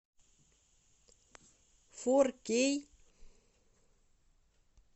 фор кей